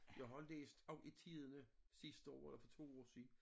Jeg har læst om i Tidende sidste år eller for 2 år siden